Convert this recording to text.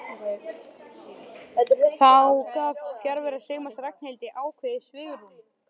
Þá gaf fjarvera Sigmars Ragnhildi ákveðið svigrúm.